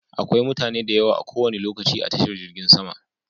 Akwai mutane da yawa a kowane lokaci a tashar jirgin sama.